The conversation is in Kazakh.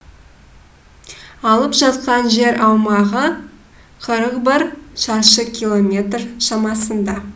алып жатқан жер аумағы қырық бір шаршы километр шамасында